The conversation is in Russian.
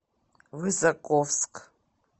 высоковск